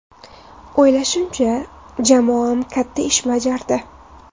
O‘ylashimcha, jamoam katta ish bajardi.